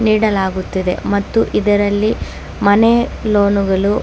ನೀಡಲಾಗುತ್ತಿದೆ ಮತ್ತು ಇದರಲ್ಲಿ ಮನೆಯ ಲೋನ್ನು ಗಳು --